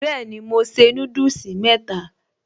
Bẹ́ẹ̀ni mo se núdùsì mẹ́ta